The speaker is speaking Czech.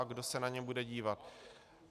A kdo se na ně bude dívat.